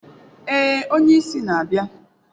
Ee, onye isi na-abịa.